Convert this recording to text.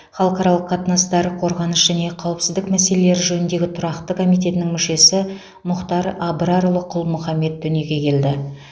халықаралық қатынастар қорғаныс және қауіпсіздік мәселелері жөніндегі тұрақты комитетінің мүшесі мұхтар абрарұлы құл мұхаммед дүниеге келді